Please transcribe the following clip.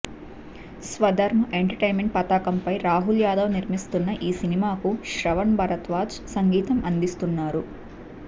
Swadharm entertainment పతాకంపై రాహుల్ యాదవ్ నిర్మిస్తున్న ఈ సినిమాకి శ్రవణ్ భరద్వాజ్ సంగీతం అందిస్తున్నారు